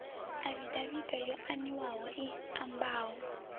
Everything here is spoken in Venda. afidaviti yo aniwaho i ambaho